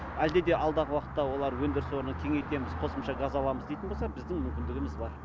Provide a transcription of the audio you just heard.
әлде де алдағы уақытта олар өндіріс орнын кеңейтеміз қосымша газ аламыз дейтін болса біздің мүмкіндігіміз бар